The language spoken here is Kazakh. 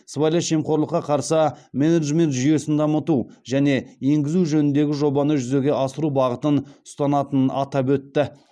сыбайлас жемқорлыққа қарсы менеджмент жүйесін дамыту және енгізу жөніндегі жобаны жүзеге асыру бағытын ұстанатынын атап өтті